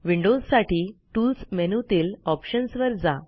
विंडोजसाठी tools मेनूतील options वर जा